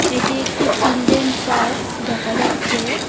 এটি একটি children park দেখা যাচ্ছে।